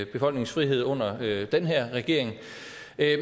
befolkningens frihed under den her regering